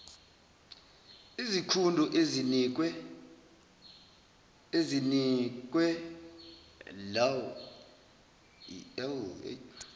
izikhundo ezinikwe laow